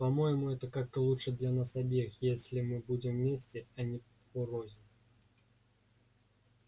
по-моему это как-то лучше для нас обеих если мы будем вместе а не порознь